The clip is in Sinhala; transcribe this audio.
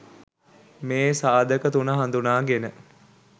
මේ සාධක තුන හඳුනාගෙන